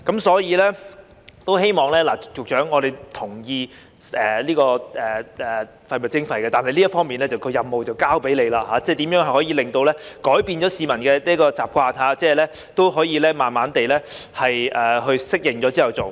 所以，局長，我們同意就廢物徵費，但這方面的任務交給你了，希望局長想想如何可以改變市民的習慣，使他們可以慢慢地在適應後去做。